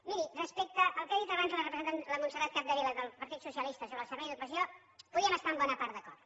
miri respecte al que ha dit abans la montserrat capdevila del partit socialista sobre el servei d’ocupació hi podríem estar en bona part d’acord